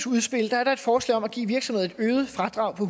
udspil er der et forslag om at give virksomheder et øget fradrag på